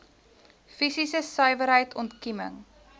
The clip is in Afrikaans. fisiese suiwerheid ontkieming